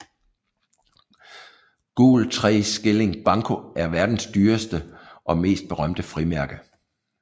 Gul tre skilling banco er verdens dyreste og mest berømte frimærke